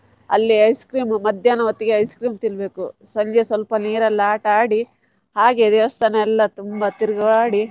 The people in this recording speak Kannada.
ಅಲ್ಲಿ ice cream ಮಧ್ಯಾಹ್ನ ಹೊತ್ತಿಗೆ ice cream ತಿನ್ಬೇಕು ಸಂಜೆ ಸ್ವಲ್ಪ ನೀರಲ್ಲಿ ಆಟ ಆಡಿ ಹಾಗೆ ದೇವಸ್ಥಾನ ಎಲ್ಲ ತುಂಬಾ ತಿರ್ಗಾಡಿ.